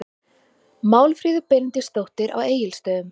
Málfríður Benediktsdóttir á Egilsstöðum